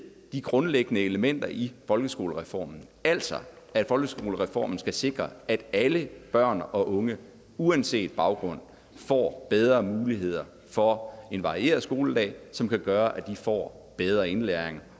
de grundlæggende elementer i folkeskolereformen altså at folkeskolereformen skal sikre at alle børn og unge uanset baggrund får bedre muligheder for en varieret skoledag som kan gøre at de får bedre indlæring